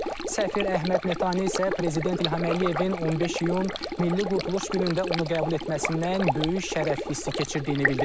Səfir Əhməd Metani isə Prezident İlham Əliyevin 15 iyun Milli Qurtuluş günündə onu qəbul etməsindən böyük şərəf hissi keçirdiyini bildirib.